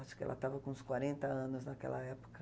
Acho que ela estava com uns quarenta anos naquela época.